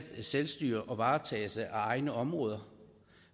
selvstyre og varetagelse af egne områder